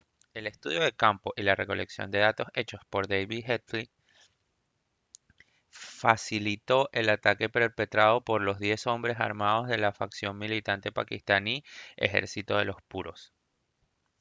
el estudio de campo y la recolección de datos hechos por david headley facilitó el ataque perpetrado por los 10 hombres armados de la facción militante paquistaní ejército de los puros